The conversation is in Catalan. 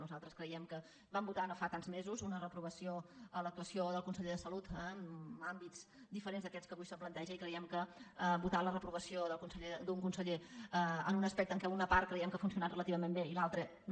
nosaltres cre·iem que vam votar no fa tants mesos una reprovació a l’actuació del conseller de salut en àmbits diferents a aquests que avui es plantegen i creiem que votar la re·provació d’un conseller en un aspecte en què una part creiem que ha funcionat relativament bé i l’altra no